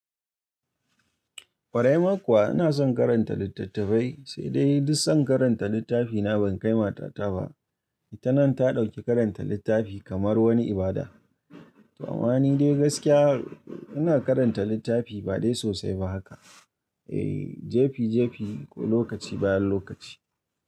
Ƙwarai ma kuwa ina son karanta littattafai, sai dai duk son karanta littafina ban kai matata ba. Ita nan ta ɗauki karanta littafi kamar wani ibada. To ama ni dai gaskiya ina karanta littafi ba dai sosai ba haka. Eh, jefi jefi ko lokaci bayan lokaci.